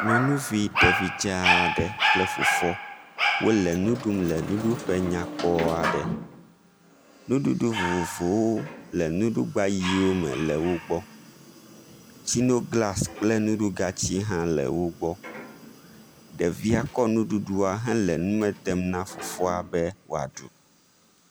Nyɔnuvi ɖevidzɛ aɖe kple fofoa wole nu ɖum le nuɖuƒe nyakpɔ aɖe. Nuɖuɖu vovovowo le nuɖugba ʋiwo me le wo gbɔ. Tsinoglasi kple nuɖugatsiwo hã le wo gbɔ. Ɖevia kɔ nuɖuɖua henɔ nume dem na fofoa be woaɖu.